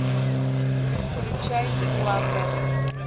включай флаббер